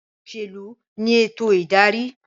Òṣèlú ní ètò ìdarí